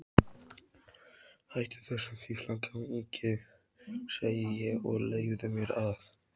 Hættu þessum fíflagangi, segi ég, og leyfðu mér að.